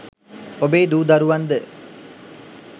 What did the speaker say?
ඔබේ දූ දරුවන් ද